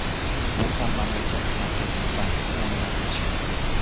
Bu ham mamlakat Markaziy banki tomonidan tashkil qilingan.